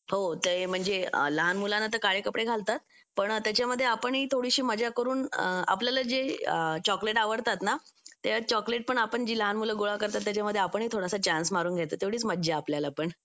हो ते म्हणजे लहान मुलांना तर काळे कपडे घालतात पण त्याच्यामध्ये आपणही थोडीशी मजा करून आपल्याला जे चॉकलेट आवडतात ना ते चॉकलेट पण आपण ती लहान मुलं गोळा करतात त्याच्यामध्ये आपणही थोडासा चान्स मारून घ्यायचा तेवढीच मज्जा आपल्याला पण